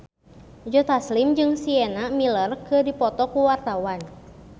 Joe Taslim jeung Sienna Miller keur dipoto ku wartawan